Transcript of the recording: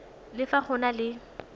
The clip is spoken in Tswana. le fa go na le